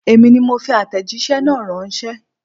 Èmi ni mo fi àtẹ̀jíṣẹ́ náà ránṣẹ́.